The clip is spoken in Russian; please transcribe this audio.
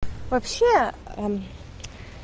вообще